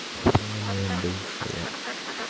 вот она моя бывшая